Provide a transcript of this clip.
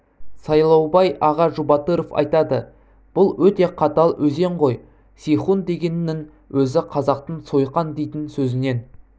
сайлаубай аға жұбатыров айтады бұл өте қатал өзен ғой сейхун дегеннің өзі қазақтың сойқан дейтін сөзінен